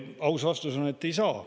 Aus vastus on, et ei saa.